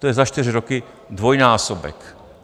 To je za čtyři roky dvojnásobek.